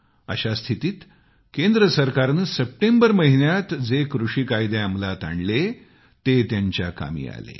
अशा स्थितीत केंद्र सरकारनं सप्टेंबर महिन्यात जे कृषी कायदे बनवले ते त्यांच्या कामी आले